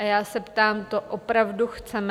A já se ptám, to opravdu chceme?